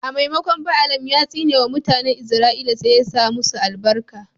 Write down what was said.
A maimakon Baalam ya tsine wa mutanen Izra'ila sai ya sa masu albarka.